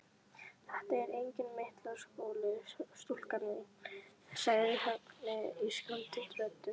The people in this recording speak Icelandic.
Þetta er enginn myndlistarskóli, stúlka mín sagði Högni ískaldri röddu.